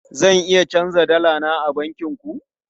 Zan iya canja dala na a bankin ku?